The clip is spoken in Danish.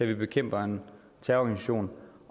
vi bekæmper en terrororganisation